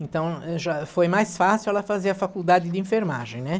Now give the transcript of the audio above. Então, já, foi mais fácil ela fazer a faculdade de enfermagem, né?